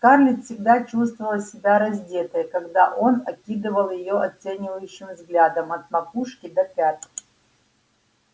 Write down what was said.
скарлетт всегда чувствовала себя раздетой когда он окидывал её оценивающим взглядом от макушки до пят